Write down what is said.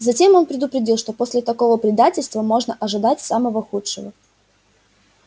затем он предупредил что после такого предательства можно ожидать самого худшего